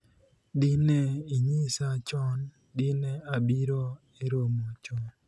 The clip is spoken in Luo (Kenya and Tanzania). dine inyisa chon, dine abiro e romo chon